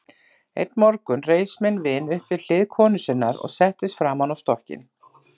Einn morgun reis minn vin upp við hlið konu sinnar og settist framan á stokkinn.